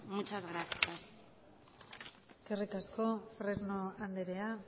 muchas gracias eskerrik asko fresno andrea